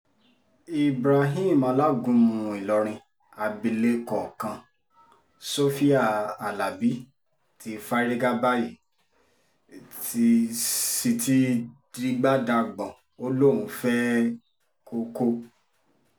ibrahim alágúnmu ìlọrin abilékọ kan sofia alábi ti fárígá báyìí t sì ti dìgbà dagbọ̀n ó lóun fẹ́ẹ́ koko